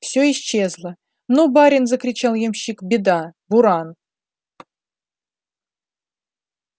всё исчезло ну барин закричал ямщик беда буран